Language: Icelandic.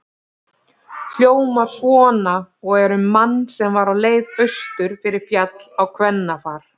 Hljómar svona og er um mann sem var á leið austur fyrir Fjall á kvennafar